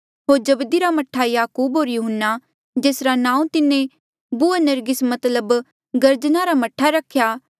होर जब्दी रा मह्ठा याकूब होर यहून्ना जेसरा नांऊँ तिन्हें बूअनरगिस मतलब गर्जना रा मह्ठा रख्या